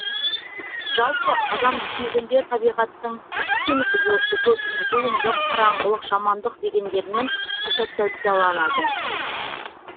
жалпы адам түсінігінде табиғаттың түн құбылысы көбіне зұлымдық қараңғылық жамандық дегендермен ассоциацияланады